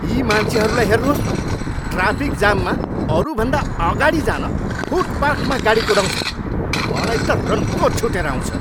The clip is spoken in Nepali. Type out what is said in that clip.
यी मान्छेहरूलाई हेर्नुहोस् न, ट्राफिक जाममा अरूभन्दा अगाडि जान फुटपाथमा गाडी कुदाउँछन्। मलाई त रन्को छुटेर आउँछ।